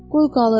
Qoy qalıb.